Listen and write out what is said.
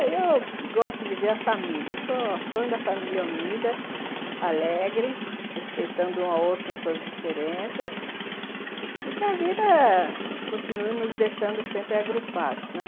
Aí eu gosto de ver a família, o sonho da família unida, alegre, respeitando um ao outro as suas diferenças e que a vida continue nos deixando sempre agrupados, né?